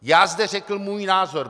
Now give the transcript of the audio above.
Já zde řekl svůj názor.